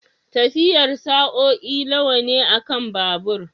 Tafiyar sa'o'i nawa ne akan babur?